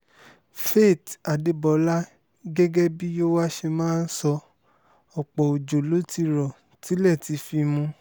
faith adébólà gẹ́gẹ́ bíi yòówá ṣe máa ń sọ ọ̀pọ̀ ọjọ́ ló ti rọ tilẹ̀ ti fi mú